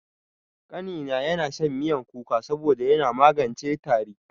Ƙanina yana shan miyan kuka saboda yana magance tari.